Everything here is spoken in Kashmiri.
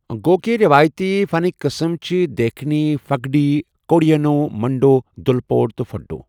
گَو کہِ رٮ۪وٲیتی فنٕٛكہِ قٕسٕم چھِ دیکھنی، فُگڈی، کورِڈیِنہو، منٛڈوٗ، دُلپوڈ تہٕ فٔڈوٗ۔